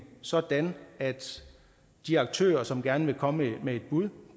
sådan at de aktører som gerne vil komme med et bud